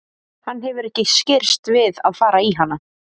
Hann hefur ekki skirrst við að fara í hana.